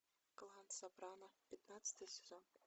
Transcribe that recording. клан сопрано пятнадцатый сезон